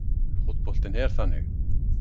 Fótboltinn er þannig